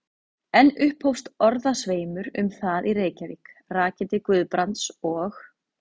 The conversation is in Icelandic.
Enn upphófst orðasveimur um það í Reykjavík, rakinn til Guðbrands og